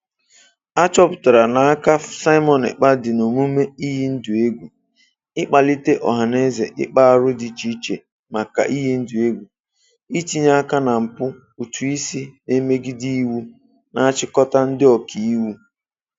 A chọpụtara na aka Simon Ekpa dị n'omume iyi ndụ egwu, ịkpalite ọhanaeze ịkpa arụ dị iche iche maka iyi ndụ egwu, itinye aka na mpụ ụtụisi na imegide iwu na-achịkọta ndị Ọkaiwu.